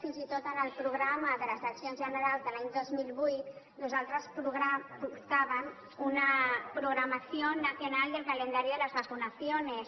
fins i tot en el programa de les eleccions generals de l’any dos mil vuit nosaltres portàvem una programación nacional del calendario de las vacunaciones